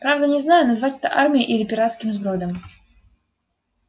правда не знаю назвать это армией или пиратским сбродом